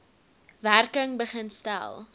werking begin stel